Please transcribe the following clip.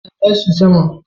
Mota na tashi sama